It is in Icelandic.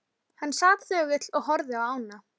Hann sat þögull og horfði á ána.